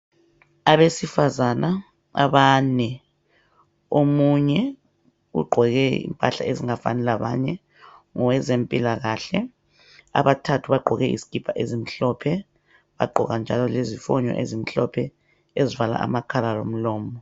Abesifazaba abane, omunye ugqoke impahla ezingafani labanye ngoqezempilakahle, abathathu bagqoke izikipa ezimhlophe bagqoka njalo lezifonyo ezimhlophe ezivala amakhala lomlomo.